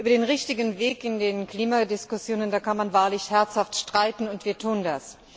Über den richtigen Weg in den Klimadiskussionen da kann man wahrlich herzhaft streiten, und wir tun das.